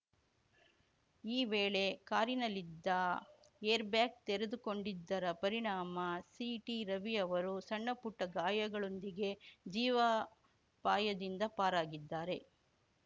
ಈ ವೇಳೆ ಕಾರಿನಲ್ಲಿದ್ದ ಏರ್‌ಬ್ಯಾಗ್‌ ತೆರೆದುಕೊಂಡಿದ್ದರ ಪರಿಣಾಮ ಸಿಟಿರವಿ ಅವರು ಸಣ್ಣಪುಟ್ಟಗಾಯಗಳೊಂದಿಗೆ ಜೀವಾಪಾಯದಿಂದ ಪಾರಾಗಿದ್ದಾರೆ